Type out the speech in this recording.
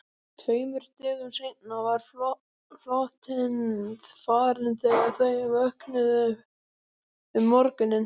Tveimur dögum seinna var flotinn farinn þegar þau vöknuðu um morguninn.